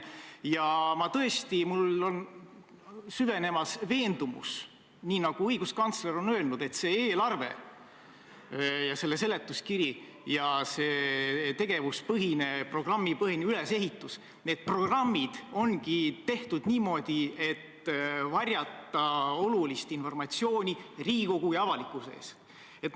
Ja tõesti, minus on süvenemas veendumus, nii nagu õiguskantsler on öelnud, et see eelarve, selle seletuskiri ja see tegevuspõhine, programmipõhine ülesehitus ongi tehtud niimoodi, et olulist informatsiooni Riigikogu ja avalikkuse eest varjata.